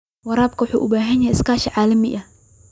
Waraabka ayaa u baahan iskaashi caalami ah.